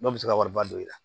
Dɔw bɛ se ka wariba don i la